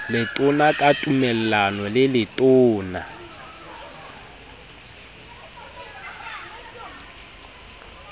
letona ka tumellano le letona